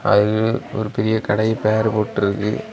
அதுல ஒரு பெரிய கடைய பேரு போட்டுருக்கு.